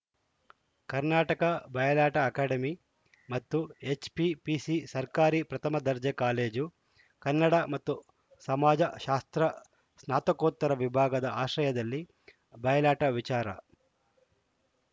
ಕರ್ನಾಟಕ ಬಯಲಾಟ ಅಕಾಡೆಮಿ ಮತ್ತು ಎಚ್‌ಪಿಪಿಸಿ ಸರ್ಕಾರಿ ಪ್ರಥಮ ದರ್ಜೆ ಕಾಲೇಜು ಕನ್ನಡ ಮತ್ತು ಸಮಾಜಶಾಸ್ತ್ರ ಸಾತ್ನಕೋತ್ತರ ವಿಭಾಗದ ಆಶ್ರಯದಲ್ಲಿ ಬಯಲಾಟ ವಿಚಾರ